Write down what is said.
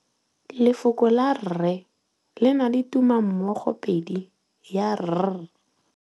Lefoko la rre le na le tumammogôpedi ya, r.